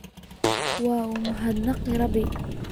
Waad umahad naqeyna Rabi.